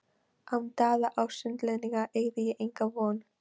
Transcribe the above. Án Daða og Sunnlendinga eygi ég enga von!